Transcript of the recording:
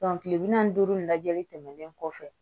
kile bi naani ni duuru in lajɛli tɛmɛnen kɔfɛ